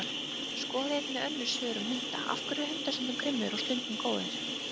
Skoðið einnig önnur svör um hunda: Af hverju eru hundar stundum grimmir og stundum góðir?